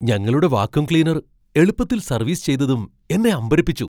ഞങ്ങളുടെ vacuum cleaner എളുപ്പത്തിൽ service ചെയ്തതും എന്നെ അമ്പരപ്പിച്ചു.